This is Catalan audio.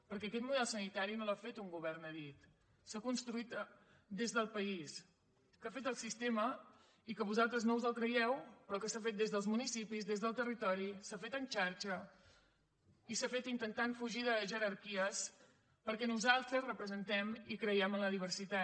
perquè aquest model sanitari no l’ha fet un govern a dit s’ha construït des del país que ha fet el sistema i que vosaltres no us el creieu però que s’ha fet des dels municipis des del territori s’ha fet en xarxa i s’ha fet intentant fugir de jerarquies perquè nosaltres representem i creiem en la diversitat